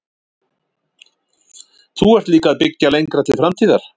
Þú ert líka að byggja lengra til framtíðar?